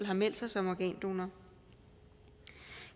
har meldt sig som organdonorer